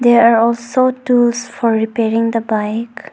There are so tools for repairing the bike.